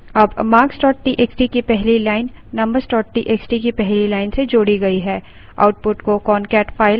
अब marks txt की पहली line numbers txt की पहली line से जोड़ी गई है